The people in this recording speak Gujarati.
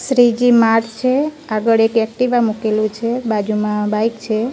શ્રીજી માર્ટ છે આગળ એક એક્ટિવા મુકેલુ છે બાજુમાં બાઈક છે.